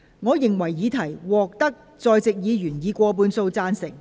我認為議題獲得在席議員以過半數贊成。